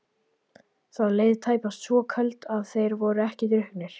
Það leið tæpast svo kvöld að þeir væru ekki drukknir.